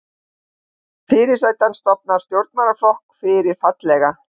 Fyrirsæta stofnar stjórnmálaflokk fyrir fallega